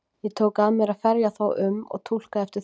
Ég tók að mér að ferja þá um og túlka eftir þörfum.